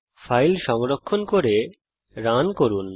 file সংরক্ষণ করে run করুন